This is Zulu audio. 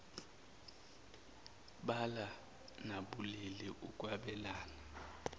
bala nabulili ukwabelana